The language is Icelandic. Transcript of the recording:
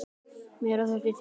Meira þurfi til.